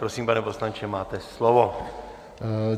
Prosím, pane poslanče, máte slovo.